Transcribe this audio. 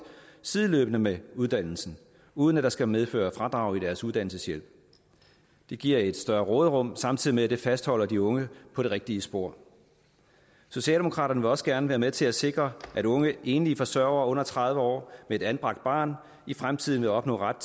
sideløbende med uddannelsen uden at det skal medføre fradrag i deres uddannelseshjælp det giver et større råderum samtidig med at det fastholder de unge på det rigtige spor socialdemokraterne vil også gerne være med til at sikre at unge enlige forsørgere under tredive år med et anbragt barn i fremtiden vil opnå ret